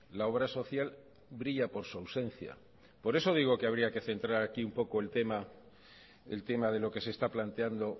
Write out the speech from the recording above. la obra social brilla por su ausencia por eso digo que habría que centrar aquí un poco el tema de lo que se está planteando